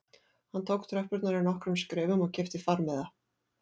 Hann tók tröppurnar í nokkrum skrefum og keypti farmiða